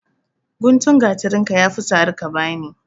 Gutun gatarinka ya fi sari ka ba ni.